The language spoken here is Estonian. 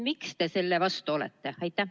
Miks te selle vastu olete?